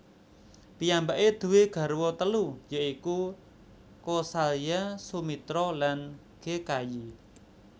Piyambake duwé garwa telu ya iku Kosalya Sumitra lan Kekayi